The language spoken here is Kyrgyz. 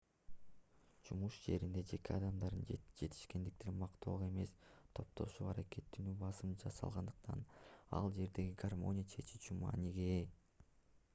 жумуш жеринде жеке адамдардын жетишкендиктерин мактоого эмес топтошуп аракеттенүүгө басым жасалгандыктан ал жердеги гармония чечүүчү мааниге ээ